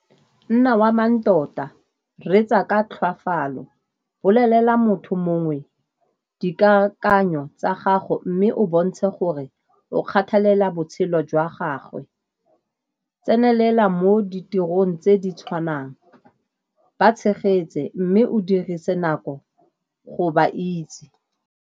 Nna wa mang tota, reetsa ka tlhoafalo, bolelela motho mongwe dikakanyo tsa gago mme o bontshe gore o kgathalela botshelo jwa gagwe, tsenelela mo ditirong tse di tshwanang, ba tshegetse mme o dirise nako go ba itse.